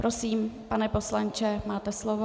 Prosím, pane poslanče, máte slovo.